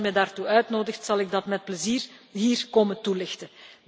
Als u me daartoe uitnodigt, zal ik dat met plezier hier komen toelichten.